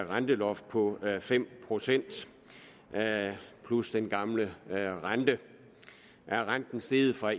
renteloft på fem procent plus den gamle rente er renten steget fra